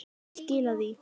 Ég skila því.